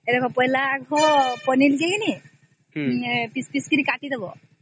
ଏଇ ଦେଖା ପହିଲା ଦେଖା ପନିର ଯୋଉ ନାହିଁ ତାକୁ ପିସ ପିସ କି କାଟି ଦେବା